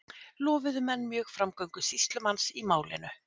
Lofuðu menn mjög framgöngu sýslumanns í málinu.